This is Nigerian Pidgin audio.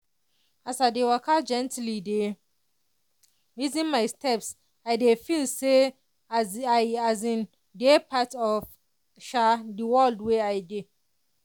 as i dey waka gently dey reason my steps i dey feel say i as in dey part of the world wey i dey.